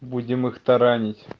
будем их таранить